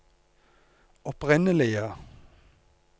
opprinnelige